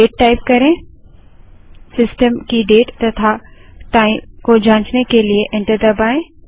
date type करें system की date तथा टाइम को जांचने के लिए एंटर दबायें